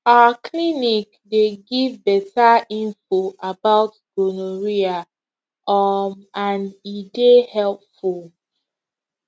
our clinic dey give better info about gonorrhea um and e dey helpful